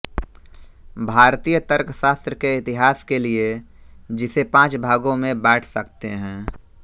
भारतीय तर्कशास्त्र के इतिहास के लिये जिसे पाँच भागों में बांट सकते हैं